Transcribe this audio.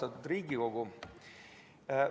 Austatud Riigikogu!